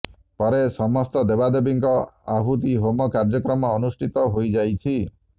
ପରେ ସମସ୍ତ ଦେବାଦେବୀଙ୍କ ଆହୁତି ହୋମ କାର୍ଯ୍ୟକ୍ରମ ଅନୁଷ୍ଠିତ ହୋଇଯାଇଛି